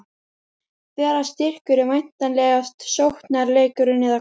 Þeirra styrkur er væntanlega sóknarleikurinn, eða hvað?